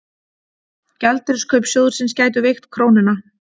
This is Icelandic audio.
Gjaldeyriskaup sjóðsins gætu veikt krónuna